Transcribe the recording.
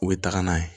U bɛ taga n'a ye